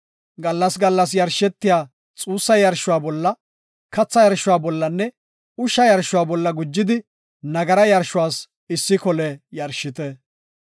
Gallas gallas yarshetiya xuussa yarshuwa bolla, katha yarshuwa bollanne ushsha yarshuwa bolla gujidi nagara yarshuwas issi kole yarshite.